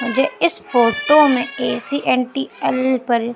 मुझे इस फोटो में ए_सी_एन_टी_एल पर--